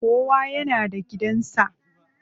Kowa yana da gidan sa.